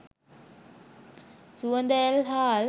සුවඳ ඇල් හාල්